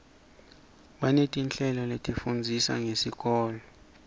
banetinhlelo letifundzisa ngesikolo